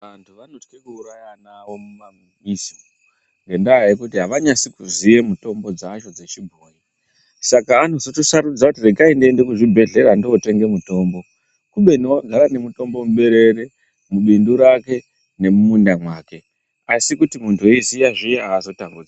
Antu anotye kuuraya ana awo mumamizi ngendaa yekuti avanyasi kuziya mitombo dzacho dzechibhoyi saka. anozotosarudza kuti regai ndiende kuzvibhedhleya ndotenge mutombo kubeni wakagara nemutombo muberere, mubindu rake nemumunda mwake asi kuti muntu eiziya zviya aazotamburi.